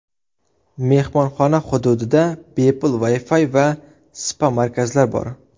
Mehmonxona hududida bepul Wi-Fi va spa-markazlar bor.